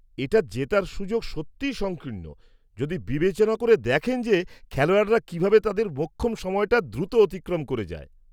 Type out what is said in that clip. -এটা জেতার সুযোগ সত্যিই সংকীর্ণ, যদি বিবেচনা করে দেখেন যে খেলোয়াড়রা কীভাবে তাদের মোক্ষম সময়টা দ্রুত অতিক্রম করে যায়।